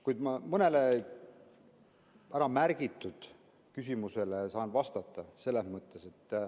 Kuid mõnele äramärgitud küsimusele ma saan vastata.